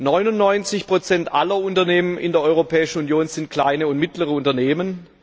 99 aller Unternehmen in der Europäischen Union sind kleine und mittlere Unternehmen.